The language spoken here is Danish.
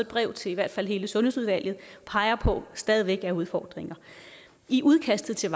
brev til i hvert fald hele sundhedsudvalget peger på stadig væk er udfordringer i udkastet til